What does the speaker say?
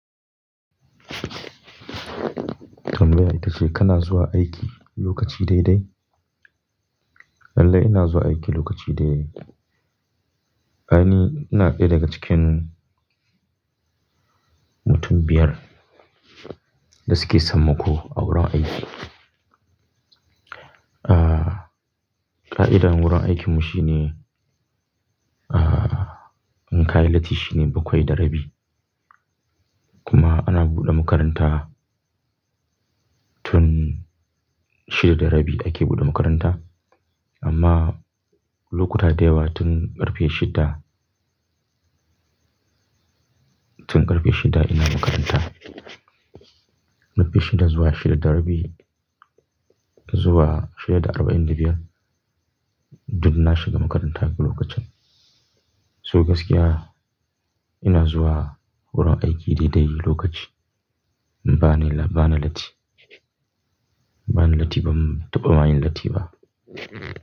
Tambayar ita ce kana zuwa aiki lokaci dai dai? Lallai ina zuwa aiki lokaci dai dai. Ai ni, ina ɗaya daga cikin mutum biyar da suke sammako a wurin aiki. Ƙa'idar wurin aikinmu shine, in ka yi latti shine bakwai da rabi. Kuma ana buɗe makaranta tun shida da rabi ake buɗe makaranta. Amma lokuta da yawa tun ƙarfe shida, tun ƙarfe shida ina makaranta. Ƙarfe shida zuwa shida da rabi zuwa shida da arba'in da biyar duk na shiga makaranta a lokacin. So gaskiya ina zuwa wurin aiki daidai lokaci. Bani yi la-- bana latti. Bani latti ban taɓa ma yin latti ba.